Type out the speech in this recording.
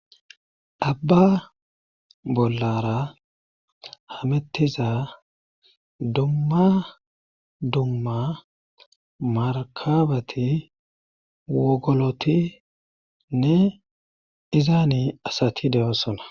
abba bollara hamettiza dumma dumma markabati wogolotinne izaani asati deyossona